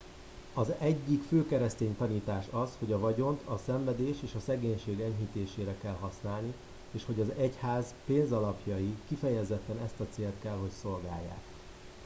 az egyik fő keresztény tanítás az hogy a vagyont a szenvedés és a szegénység enyhítésére kell használni és hogy az egyház pénzalapjai kifejezetten ezt a célt kell hogy szolgálják